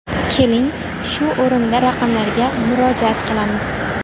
Keling, shu o‘rinda raqamlarga murojaat qilamiz.